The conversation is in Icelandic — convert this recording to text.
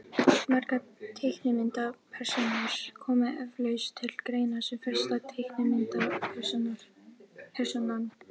margar teiknimyndapersónur koma eflaust til greina sem fyrsta teiknimyndapersónan